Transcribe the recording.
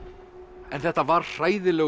en þetta var hræðilegur